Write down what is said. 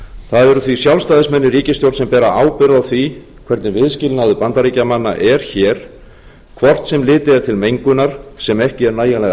það eru því sjálfstæðismenn í ríkisstjórn sem bera ábyrgð á því hvernig viðskilnaður bandaríkjamanna er hér hvort sem litið er til mengunar sem ekki er nægjanlega